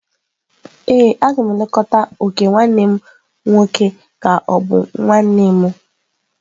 Ee, a ga m elekọta ok nwanne m nwoke ka ọ bụ nwa nne m.